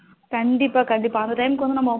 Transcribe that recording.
கண்டிப்பா கண்டிப்பா அந்த time முக்கு வந்து